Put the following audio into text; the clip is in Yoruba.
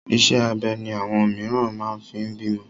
Iṣẹ́ abẹ ni àwọn mìíràn máa fi ń bímọ.